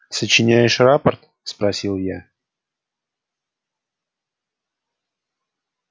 сочиняешь рапорт спросил я